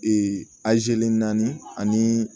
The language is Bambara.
Ee naani ani